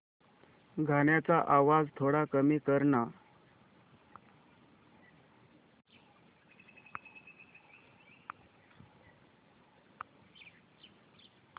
गाण्याचा आवाज थोडा कमी कर ना